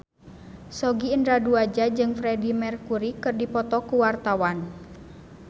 Sogi Indra Duaja jeung Freedie Mercury keur dipoto ku wartawan